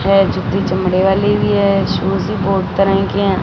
वह जूती चमड़े वाली भी है शूज़ भी बहुत तरह के हैं।